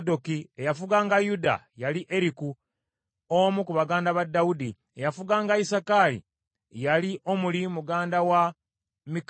eyafuganga Yuda yali Eriku, omu ku baganda ba Dawudi; eyafuganga Isakaali yali Omuli mutabani wa Mikayiri;